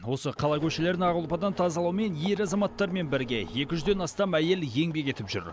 осы қала көшелерін ақ ұлпадан тазалаумен ер азаматтармен бірге екі жүзден астам әйел еңбек етіп жүр